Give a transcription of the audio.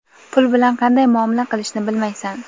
Pul bilan qanday muomala qilishni bilmaysan.